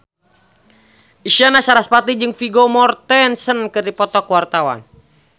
Isyana Sarasvati jeung Vigo Mortensen keur dipoto ku wartawan